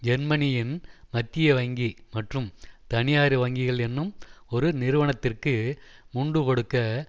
ஜெர்மனியின் மத்திய வங்கி மற்றும் தனியார் வங்கிகள் என்னும் ஒரு நிறுவனத்திற்கு முண்டு கொடுக்க